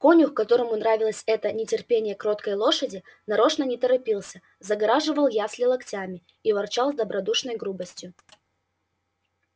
конюх которому нравилось это нетерпение кроткой лошади нарочно не торопился загораживал ясли локтями и ворчал с добродушною грубостью